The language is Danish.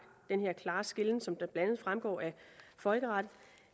den her klare skelnen som blandt andet fremgår af folkeretten